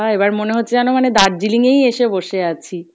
এবার মনে হচ্ছে যেনো মানে দার্জিলিং এই এসে বসে আছি।